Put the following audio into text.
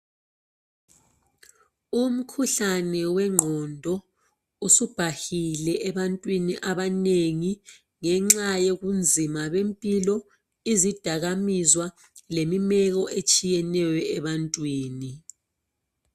umkhuhlane wenqondo usubhahile ebantwini abanengi ngenxa yobunzima bempilo izidakwamizwa lemimeko etshiyeneyo ebantwini